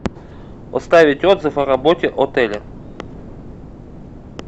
оставить отзыв о работе отеля